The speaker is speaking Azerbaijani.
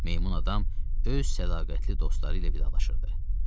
Meymun adam öz sədaqətli dostları ilə vidalaşırdı.